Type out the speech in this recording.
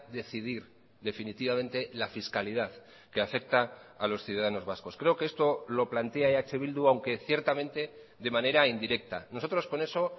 decidir definitivamente la fiscalidad que afecta a los ciudadanos vascos creo que esto lo plantea eh bildu aunque ciertamente de manera indirecta nosotros con eso